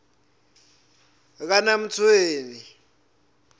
kanamtshweni